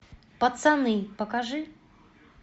пацаны покажи